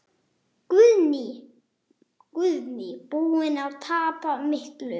Guðný: Búinn að tapa miklu?